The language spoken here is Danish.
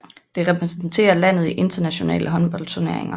Det repræsenterer landet i internationale håndboldturneringer